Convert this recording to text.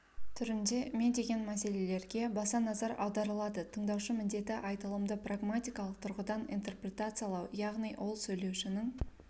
түрінде ме деген мәселелерге баса назар аударыладытыңдаушы міндеті айтылымды прагматикалық тұрғыдан интерпретациялау яғни ол сөйлеушінің